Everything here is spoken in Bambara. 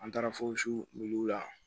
An taara wuli la